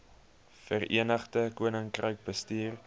verenigde koninkryk bestuur